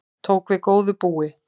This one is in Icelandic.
Tók við góðu búi